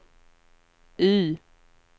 Y